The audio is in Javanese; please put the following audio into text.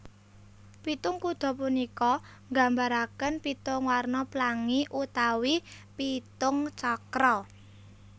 Pitung kuda punika nggambaraken pitung warna plangi utawi pitung cakra